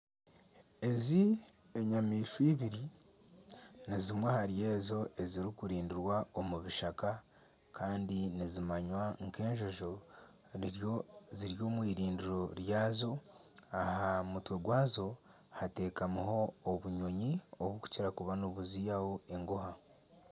Ezi enyamaishwa eibiri nizimwe ahari ezo ezirikurindirwa omu bishaka kandi nizimanywa nka enjojo ziri omwirindiro ryazo aha mutwe gwazo hateekamiho obunyonyi obukukira kuba nibuziyaho engooha.